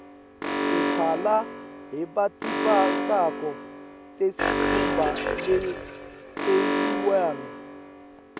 timphala lebatimbatsako tesikhumba teliwane